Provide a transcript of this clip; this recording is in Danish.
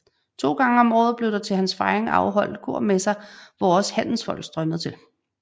To gange om året blev der til hans fejring afholdt holdt korsmesser hvor også handelsfolk strømmede til